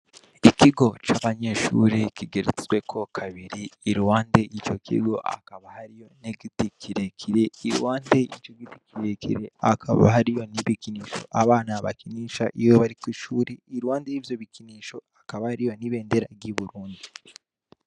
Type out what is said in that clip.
Ikigo c'abanyeshuri kigeretsweko kabiri irwande ico kigo akaba hariyo negiti kirekire i wande ico giti kirekire hakaba hari yo n'ibikinisho abana bakinisha iwe bariko ishuri irwande y'ivyo bikinisho akaba hariyo n'ibendera ry'i burundi.